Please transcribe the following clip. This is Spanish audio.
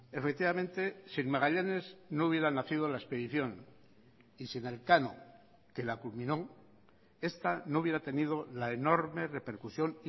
efectivamente sin magallanes no hubiera nacido la expedición y sin elcano que la culminó esta no hubiera tenido la enorme repercusión